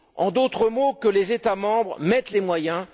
En d'autres mots, que les États membres y mettent les moyens.